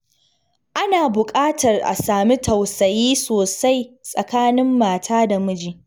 Ana buƙatar a sami tausayi sosai tsakanin mata da miji.